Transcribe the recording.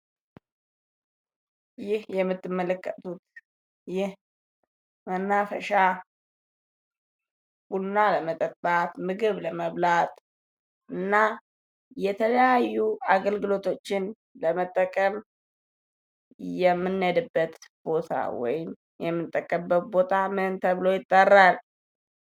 ይህ የምትመለከቱት መናፈሻ ቡና ለመጠጣት ምግብ ለመብላት እና የተለያዩ አገልግሎቶችን ለመጠቀም የምንሄድበት ቦታ ወይም የምንጠቀምበት ቦታ ምን ተብሎ ይጠራል?